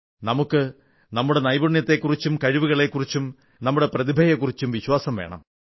നമുക്ക് നമ്മുടെ നൈപുണ്യത്തെക്കുറിച്ചും കഴിവുകളെക്കുറിച്ചും നമ്മുടെ പ്രതിഭയെക്കുറിച്ചും വിശ്വാസം വേണം